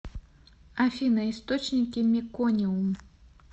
афина источники мекониум